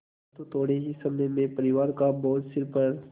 परन्तु थोडे़ ही समय में परिवार का बोझ सिर पर